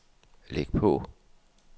læg på